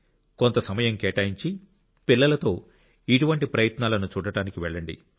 కొంత సమయం కేటాయించి పిల్లలతో ఇటువంటి ప్రయత్నాలను చూడటానికి వెళ్ళండి